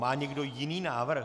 Má někdo jiný návrh?